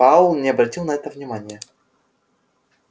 пауэлл не обратил на это внимания